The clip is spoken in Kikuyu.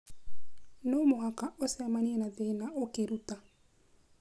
No mũhaka ũcemanie na thĩna ũkĩruta.